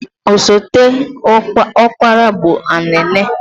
Osote ọkpara bụ Anene.